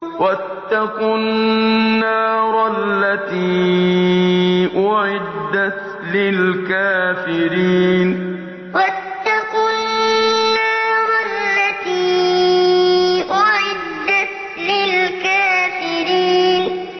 وَاتَّقُوا النَّارَ الَّتِي أُعِدَّتْ لِلْكَافِرِينَ وَاتَّقُوا النَّارَ الَّتِي أُعِدَّتْ لِلْكَافِرِينَ